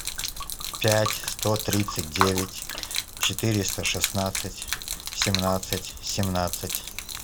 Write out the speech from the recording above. пять сто тридцать девять четыреста шестнадцать семнадцать семнадцать